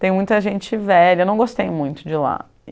Tem muita gente velha, eu não gostei muito de lá.